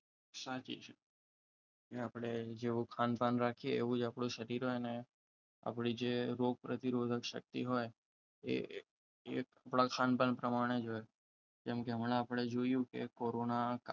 સાચી છે કે આપણે જેવુ ખાનપાન રાખીએ એવું આપણું શરીર અને આપણે જે રોગ પ્રતિરોધક શક્તિ હોય એ થોડા ખાનપાન પ્રમાણે હોય જેમ કે હમણાં આપણે જોયુ કે કોરોના